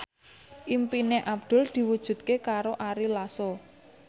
impine Abdul diwujudke karo Ari Lasso